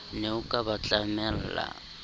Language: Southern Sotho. ne o ka ba tlamella